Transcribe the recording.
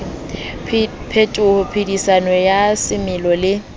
phetoho phedisanong ya semelo le